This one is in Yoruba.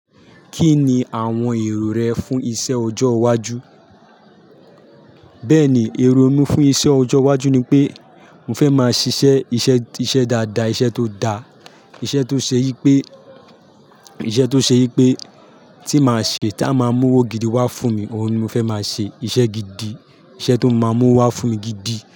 Kí ni àwọn èrò rẹ fún iṣẹ́ ọjọ́ iwájú? Bẹ́ẹ̀ ni, èrò mi fún iṣẹ́ ọjọ́ iwájú ni pé, mo fẹ́ máa ṣiṣẹ́ iṣẹ́ dáadáa, iṣẹ́ tó da, iṣẹ́ tó ṣe yí pé, iṣẹ́ tó ṣe yí pé tí màá ṣe tí a màá mú owó gidi wá fún mi, òun ni mo fẹ́ máa ṣe, iṣẹ́ gidi, iṣẹ́ tó máa mú wá fún mi gidi.